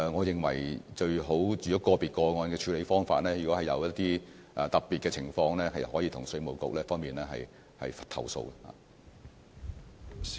如果個別個案的處理方法有一些特別的情況，可以向稅務局作出投訴。